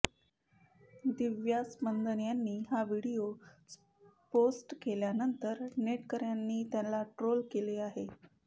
दिव्या स्पंदन यांनी हा video post केल्यानंतर नेटकऱ्यांनी त्यांना ट्रोल केले आहे